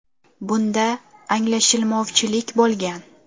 Bunda anglashilmovchilik bo‘lgan.